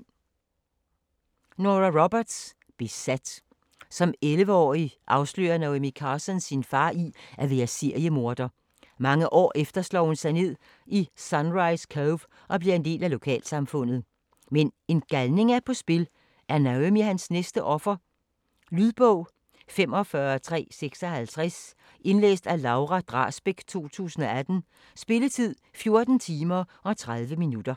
Roberts, Nora: Besat Som 11-årig afslører Naomi Carson sin far i at være seriemorder. Mange år efter slår hun sig ned i Sunrise Cove og bliver en del af lokalsamfundet. Men en galning er på spil, er Naomi hans næste offer? Lydbog 45356 Indlæst af Laura Drasbæk, 2018. Spilletid: 14 timer, 30 minutter.